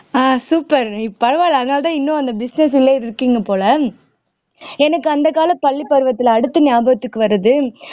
ஆஹ் super பரவாயில்லை அதனாலதான் இன்னும் அந்த business லயே இருக்கீங்க போல எனக்கு அந்த கால பள்ளி பருவத்துல அடுத்து ஞாபகத்துக்கு வர்றது